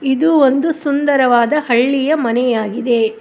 ಇದು ಒಂದು ಸುಂದರವಾದ ಹಳ್ಳಿಯ ಮನೆಯಾಗಿದೆ.